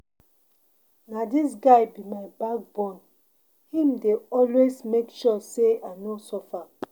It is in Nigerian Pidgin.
Na dis guy be my backbone, im dey always make sure sey I no suffer.